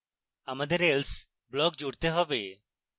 আমাদের else block জুড়তে হবে